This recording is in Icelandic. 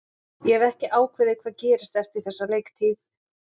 Ég hef ekki ákveðið hvað gerist eftir þessa leiktíð.